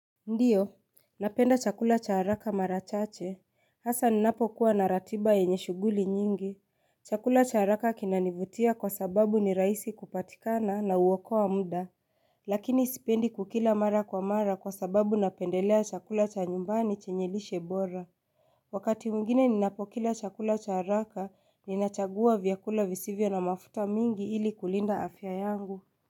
Ndiyo. Napenda chakula cha haraka marachache. Hasa ninapo kuwa naratiba yenye shuguli nyingi. Chakula cha haraka kinanivutia kwa sababu ni rahisi kupatikana na huokoa muda. Lakini sipendi kukila mara kwa mara kwa sababu napendelea chakula cha nyumbani chenye lishe bora. Wakati mwingine ninapokila chakula cha haraka ninachagua vyakula visivyo na mafuta mingi ili kulinda afya yangu.